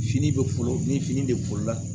Fini bɛ foolo ni fini bɛla